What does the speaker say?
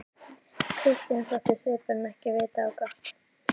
Christian þótti svipurinn ekki vita á gott.